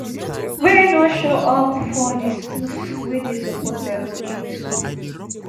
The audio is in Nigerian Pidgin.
wey no show up for di schools wey dey suppose enrol into